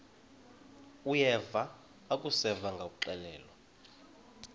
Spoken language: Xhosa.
uyeva akuseva ngakuxelelwa